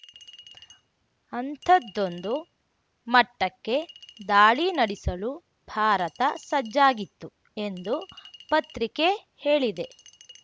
ಅಂಥದ್ದೊಂದು ಮಟ್ಟಕ್ಕೆ ದಾಳಿ ನಡಿಸಲು ಭಾರತ ಸಜ್ಜಾಗಿತ್ತು ಎಂದು ಪತ್ರಿಕೆ ಹೇಳಿದೆ